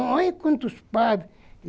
Olha quantos padres.